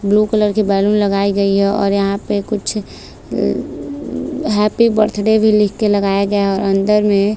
blue colour की balloon लगायी गयी है और यहाँ पे कुछ अ अ हैप्पी बर्थडे भी लिख के लगाया गया है और अंदर में--